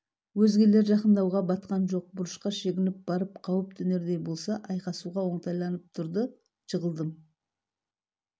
өзгелер жақындауға батқан жоқ бұрышқа шегініп барып қауіп төнердей болса айқасуға оңтайланып тұрды жығылдым